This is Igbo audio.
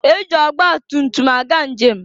E ji ọgba tumtum aga njem.